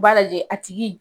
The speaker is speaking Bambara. U b'a lajɛ a tigi